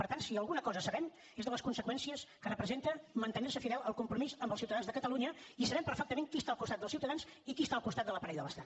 per tant si alguna cosa sabem són les conseqüències que representa mantenir se fidel al compromís amb els ciutadans de catalunya i sabem perfectament qui està al costat dels ciutadans i qui està al costat de l’aparell de l’estat